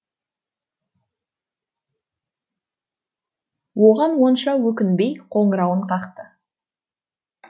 оған онша өкінбей қоңырауын қақты